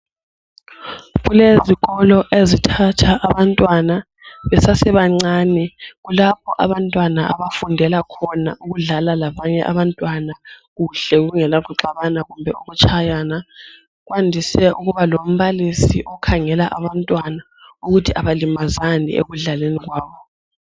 Kulezikolo ezithatha abantwana besasebancane. Kulapho abantwana abafundela khona ukudlala labanye abantwana kuhle kungela kuxabana kumbe ukutshayana. Kwandise ukuba lombalisi okhangela abantwana ukuthi abalimazani ekudlaleni kwabo.